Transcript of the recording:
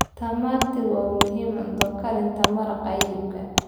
Tamati waa muhiim cunto karinta maraqa hilibka.